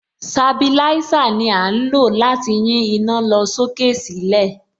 Sabilísà ni à ń lò láti yín iná lọ sókè sílẹ̀.